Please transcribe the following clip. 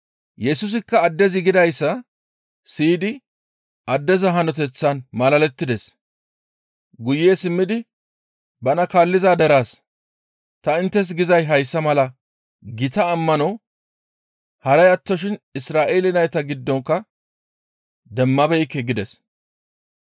Yesusikka addezi gidayssa siyidi addeza hanoteththaan malalettides; guye simmidi bana kaalliza deraas, «Ta inttes gizay hayssa mala gita ammano haray attoshin Isra7eele nayta giddonkka demmabeekke» gides.